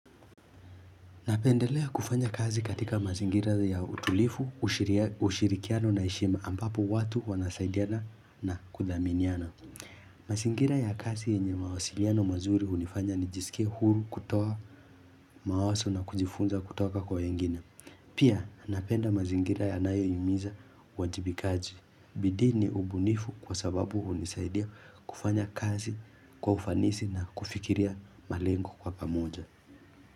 Napendelea kufanya kazi katika mazingira ya utulifu, ushirikiano na heshima ambapo watu wanasaidiana na kudhaminiana. Mazingira ya kazi yenye mawasiliano mazuri hunifanya nijisikie huru kutoa mawaso na kujifunza kutoka kwa wengine. Pia napenda mazingira ya nayohimiza wajibikaji. Bidi ni ubunifu kwa sababu unisaidia kufanya kazi kwa ufanisi na kufikiria malengo kwa pamoja.